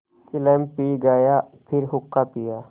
चिलम पी गाया फिर हुक्का पिया